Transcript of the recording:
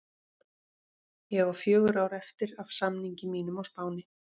Ég á fjögur ár eftir af samningi mínum á Spáni.